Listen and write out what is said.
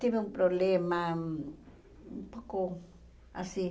Tive um problema um pouco assim.